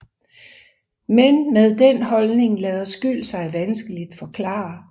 Men med den holdning lader skyld sig vanskeligt forklare